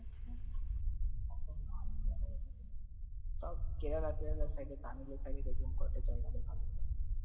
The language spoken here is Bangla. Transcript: সব কেরালা কেরালার side এ তামিল জায়গা দেখাব